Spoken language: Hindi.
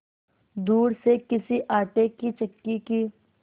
दूर से किसी आटे की चक्की की